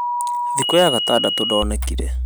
thiku ya gatandatũ ndonekanire